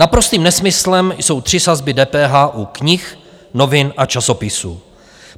Naprostým nesmyslem jsou tři sazby DPH u knih, novin a časopisů.